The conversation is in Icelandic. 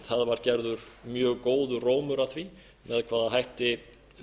það var gerður mjög góður rómur að því með hvaða hætti